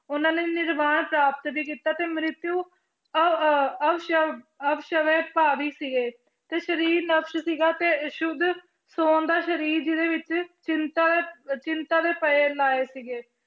ਉਹਨਾਂ ਨੇ ਨਿਰਵਾਣ ਪ੍ਰਾਪਤ ਵੀ ਕੀਤਾ ਤੇ ਮ੍ਰਿਤਯੂ ਅਹ ਅਹ ਸੀਗੇ ਤੇ ਸਰੀਰ ਨਸ਼ਟ ਸੀਗਾ ਤੇ ਸੁੱਧ ਸਰੀਰ ਜਿਹਦੇ ਵਿੱਚ ਚਿੰਤਾ ਦਾ ਚਿੰਤਾ ਦੇ ਲਾਏ ਸੀਗੇ